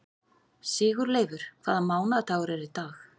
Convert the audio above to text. Sigurleifur, hvaða mánaðardagur er í dag?